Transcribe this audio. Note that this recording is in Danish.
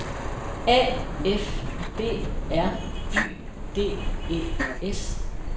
A F B R Y D E S